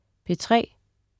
P3: